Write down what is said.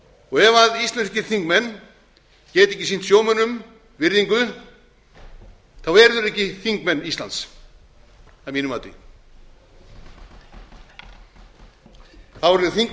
flokkum ef íslenskir þingmenn geta ekki sýnt sjómönnum virðingu eru þeir ekki þingmenn íslands að mínu mati þá